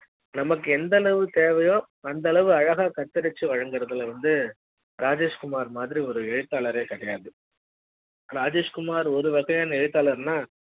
நமக்கு எந்த அளவு தேவையோ அந்த அளவு அழகாக கத்திருச்சி வழங்குறதுல வந்து ராஜேஷ்குமார் மாதிரி ஒரு எழுத்தாளரே கிடையாது ராஜேஷ்குமார் ஒரு வகையான எழுத்தாளர்னா